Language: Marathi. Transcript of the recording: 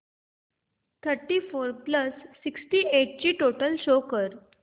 thirty four plus sixty eight ची टोटल शो कर